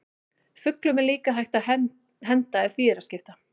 Fuglum er líka hægt að henda ef því er að skipta.